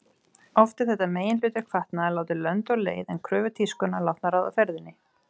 Oft er þetta meginhlutverk fatnaðar látið lönd og leið en kröfur tískunnar látnar ráða ferðinni.